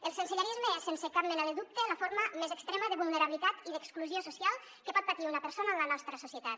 el sensellarisme és sense cap mena de dubte la forma més extrema de vulnerabilitat i d’exclusió social que pot patir una persona en la nostra societat